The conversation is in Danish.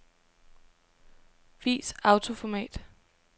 Vis autoformat.